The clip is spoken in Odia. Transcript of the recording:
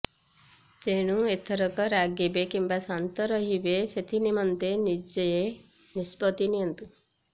ଏଣୁ ଏଥରକ ରାଗିବେ କିମ୍ବା ଶାନ୍ତ ରହିବେ ସେଥିନିମନ୍ତେ ନିଜେ ନିଷ୍ପତ୍ତି ନିଅନ୍ତୁ